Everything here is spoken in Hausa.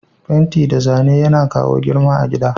Fenti da Zane Yana kawo girma a gida.